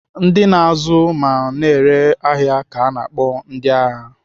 Ndị na-azụ ma na-ere ahịa ka ana akpọ ndịahịa.